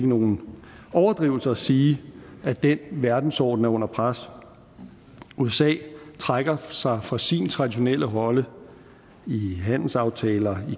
nogen overdrivelse at sige at den verdensorden er under pres usa trækker sig fra sin traditionelle rolle i handelsaftaler og